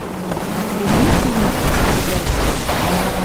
вруби фильм престо